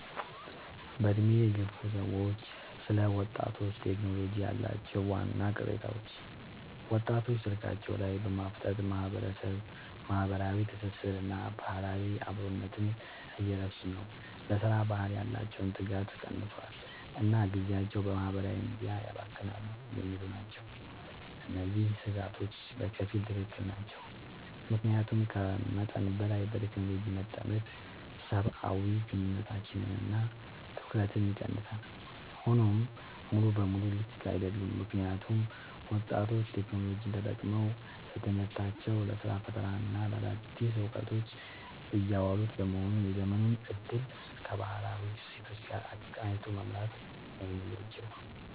በዕድሜ የገፉ ሰዎች ስለ ወጣቶችና ቴክኖሎጂ ያላቸው ዋና ቅሬታዎች፦ ወጣቶች ስልካቸው ላይ በማፍጠጥ ማህበራዊ ትስስርንና ባህላዊ አብሮነትን እየረሱ ነው: ለሥራ ባህል ያላቸው ትጋት ቀንሷል: እና ጊዜያቸውን በማህበራዊ ሚዲያ ያባክናሉ የሚሉ ናቸው። እነዚህ ስጋቶች በከፊል ትክክል ናቸው። ምክንያቱም ከመጠን በላይ በቴክኖሎጂ መጠመድ ሰብአዊ ግንኙነቶችንና ትኩረትን ይቀንሳል። ሆኖም ሙሉ በሙሉ ልክ አይደሉም: ምክንያቱም ወጣቶች ቴክኖሎጂን ተጠቅመው ለትምህርታቸው: ለስራ ፈጠራና ለአዳዲስ እውቀቶች እያዋሉት በመሆኑ የዘመኑን እድል ከባህላዊ እሴቶች ጋር አቀናጅቶ መምራት ነው የሚበጀው።